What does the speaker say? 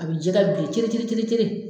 A bi jɛgɛ bilen cere cere cere cere